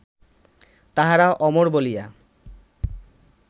তাঁহারা অমর বলিয়া